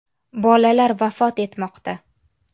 Bolalar vafot etmoqda.